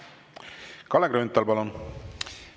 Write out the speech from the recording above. Kalle Grünthal, palun!